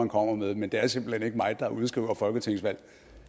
kommer med men det er simpelt hen ikke mig der udskriver folketingsvalg